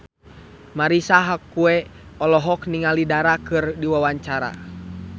Marisa Haque olohok ningali Dara keur diwawancara